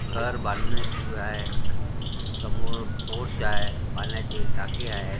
घर बांधणे सुरू आहे समोर पोर्च आहे पाण्याची टाकी आहे.